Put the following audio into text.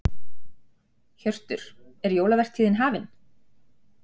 Hjörtur, er jólavertíðin hafin?